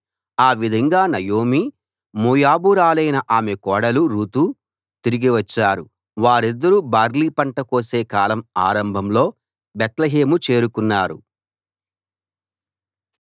ఆ విధంగా నయోమి మోయాబీయురాలైన ఆమె కోడలు రూతు తిరిగి వచ్చారు వారిద్దరూ బార్లీ పంట కోసే కాలం ఆరంభంలో బేత్లెహేము చేరుకున్నారు